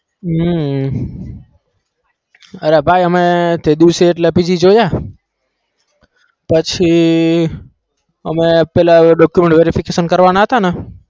હમ અરે ભાઈ અમે તે દિવસ એટલા PG જોયા પછી અમે પેલા document verification કરવાના હતા ને